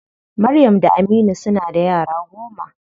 Maryam da Aminu suna da yara goma.